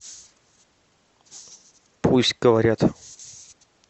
пусть говорят